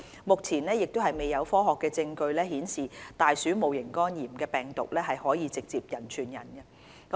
目前亦未有科學證據顯示大鼠戊型肝炎病毒可直接人傳人。